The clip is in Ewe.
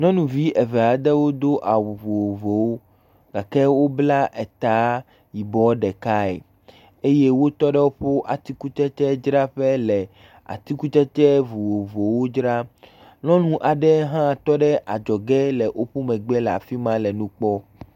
Nyɔnuvi eve aɖewo do awu vovovowo gake wobla etaa yibɔɔ ɖekae eye wotɔ ɖe woƒo atikutsetsedzraƒe le atikutsetse vovovowo dzram. Nyɔnu aɖe hã tɔ ɖe adzɔge le woƒo megbe le afi ma le nu kpɔm.